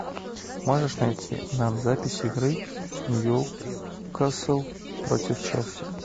можешь найти нам запись игры ньюкасл против челси